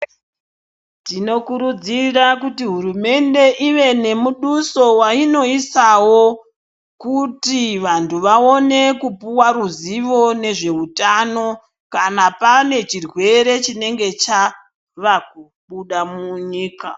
Tinokurudzira kuti hurumende ive nemudoso wainoisawo kuti vantu vaone kupiwa ruzivo nezveutano kana pane chirwere chinenge chavakubuda munyika .